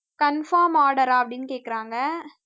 conform order ஆ அப்படின்னு கேக்குறாங்க